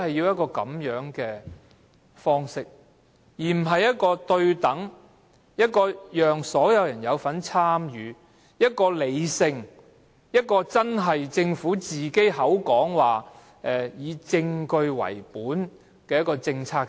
我們是否不可以對等、人人有份參與、理性的方式，由政府以證據為本來制訂政策呢？